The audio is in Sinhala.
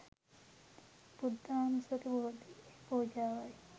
බුද්ධානුස්සති බෝධි පූජාවයි.